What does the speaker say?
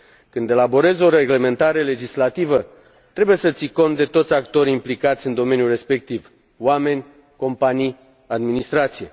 Când elaborezi o reglementare legislativă, trebuie să ții cont de toți actorii implicați în domeniul respectiv oameni, companii, administrație.